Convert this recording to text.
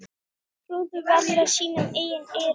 Trúðu varla sínum eigin eyrum.